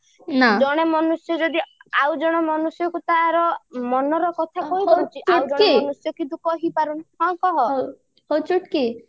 ଜଣେ ମନୁଷ୍ୟ ଯଦି ଆଉ ଜଣେ ମନୁଷ୍ୟକୁ ତାର ମନର କଥା କହି ପାରୁଛି ଆଉ ଜଣେ ମନୁଷ୍ୟ କିନ୍ତୁ କହି ପାରୁନି ହଁ କହ